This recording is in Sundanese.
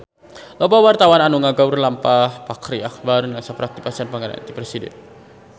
Loba wartawan anu ngaguar lalampahan Fachri Albar tisaprak dipasihan panghargaan ti Presiden